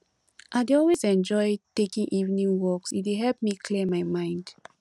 i dey always enjoy taking evening walks e dey help me clear my mind